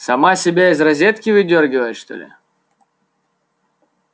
сама себя из розетки выдёргивает что ли